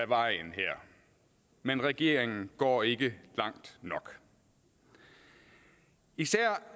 vejen her men regeringen går ikke langt nok især